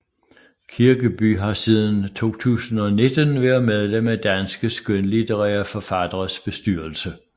Kirkeby har siden 2019 været medlem af Danske skønlitterære Forfatteres bestyrelse